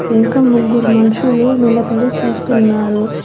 ఇంకా ముగ్గురు మనుషులు నిలబడి చూస్తున్నారు.